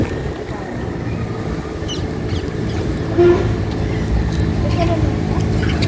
ಹ್ಮ್ ಹಾಗೆ ಹ್ಮ್ special ಎಲ್ಲಾ ಉಂಟಾ?